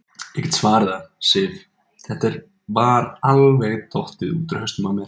Ég get svarið það, Sif, þetta var alveg dottið út úr hausnum á mér.